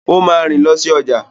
O máa rìn lọ si ọjà.